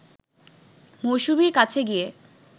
মৌসুমীর কাছে গিয়ে